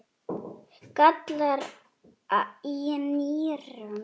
gallar í nýrum